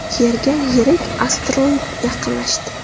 Yerga yirik asteroid yaqinlashdi.